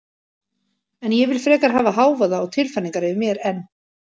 En ég vil frekar hafa hávaða og tilfæringar yfir mér en